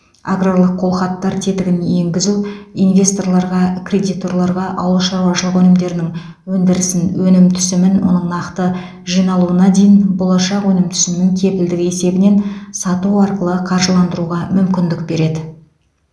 аграрлық қолхаттар тетігін енгізу инвесторларға кредиторларға ауыл шаруашылығы өнімдерінің өндірісін өнім түсімін оның нақты жиналуына дейін болашақ өнім түсімінің кепілдігі есебінен сату арқылы қаржыландыруға мүмкіндік береді